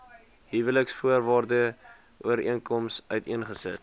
huweliksvoorwaarde ooreenkoms uiteengesit